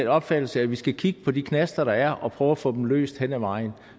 opfattelse at vi skal kigge på de knaster der er og prøve at få dem løst henad vejen